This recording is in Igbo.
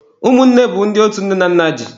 Ụmụnne bụ ndị otu nne na nna ji.